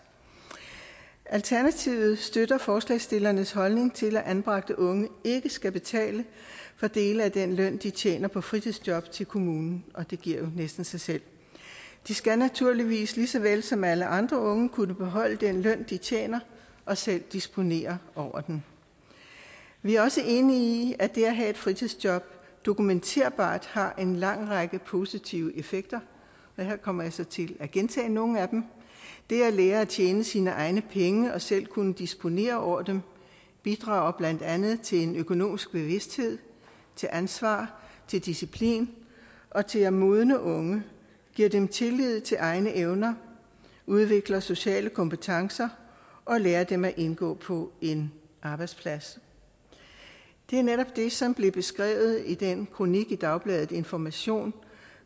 alternativet støtter forslagsstillernes holdning til at anbragte unge ikke skal betale for dele af den løn de tjener på fritidsjob til kommunen og det giver jo næsten sig selv de skal naturligvis lige så vel som alle andre unge kunne beholde den løn de tjener og selv disponere over den vi er også enige i at det at have et fritidsjob dokumenterbart har en lang række positive effekter og her kommer jeg så til at gentage nogle af dem det at lære at tjene sine egne penge og selv kunne disponere over dem bidrager blandt andet til en økonomisk bevidsthed til ansvar til disciplin og til at modne unge det giver dem tillid til egne evner udvikler sociale kompetencer og lærer dem at indgå på en arbejdsplads det er netop det som blev beskrevet i den kronik i dagbladet information